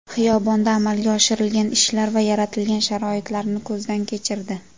Xiyobonda amalga oshirilgan ishlar va yaratilgan sharoitlarni ko‘zdan kechirdi.